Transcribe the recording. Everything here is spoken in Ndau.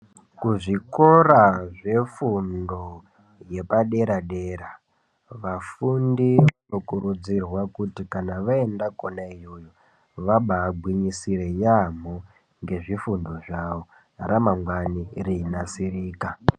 Kuzvikoro zvefundo yepadera dera vafundi vanokuridzirwa kuti kana vaenda kona iyoyo vabagwinyisire yaamho ngezvifundo zvavo ramangwani reinasirika.